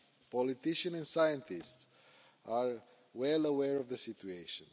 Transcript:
Politicians and scientists are well aware of the situation.